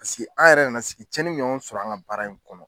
an yɛrɛ nana sigi cɛnni in ɲɔgɔn bi sɔrɔ an ka baara in kɔnɔ.